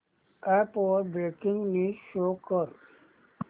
app वर breaking news show कर